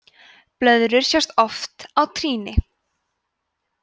blöðrur sjást oft á trýni